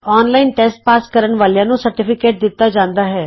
online test pass ਕਰਨ ਵਾਲਿਆਂ ਨੂੰ ਸਰਟੀਫਿਕੇਟ ਦਿਤਾ ਜਾਂਦਾ ਹੈ